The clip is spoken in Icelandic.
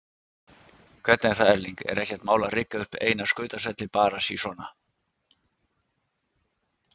Hvernig er það Erling, er ekkert mál að rigga upp eina skautasvelli bara sí svona?